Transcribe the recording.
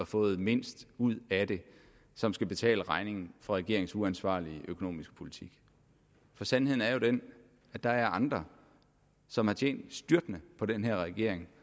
fået mindst ud af det som skal betale regningen for regeringens uansvarlige økonomiske politik for sandheden er jo den at der er andre som har tjent styrtende på den her regering